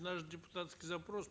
наш депутатский запрос